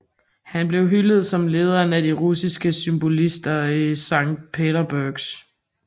Han blev hyldet som lederen af de russiske symbolister i Sankt Petersburg